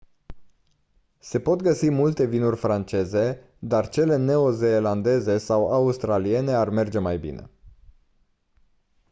se pot găsi multe vinuri franceze dar cele neo-zeelandeze sau australiene ar merge mai bine